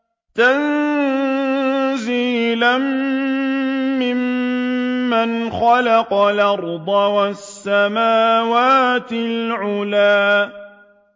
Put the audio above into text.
تَنزِيلًا مِّمَّنْ خَلَقَ الْأَرْضَ وَالسَّمَاوَاتِ الْعُلَى